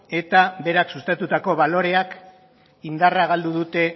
eta berak sustatutako baloreak indarra galdu dute